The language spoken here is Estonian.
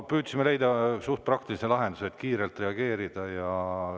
Püüdsime leida suht praktilise lahenduse ja kiirelt reageerida.